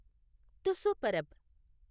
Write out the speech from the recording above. Tusu Parab